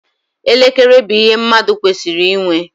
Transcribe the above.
Elekere bụ ihe mmadụ kwesịrị ịnwe.